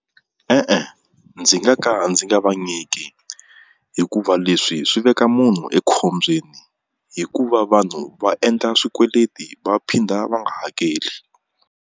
E-e ndzi nga ka ndzi nga va nyiki hikuva leswi swi veka munhu ekhombyeni hikuva vanhu va endla swikweleti va phinda va nga hakeli.